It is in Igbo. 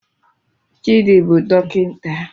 Chidi bụ dọkịta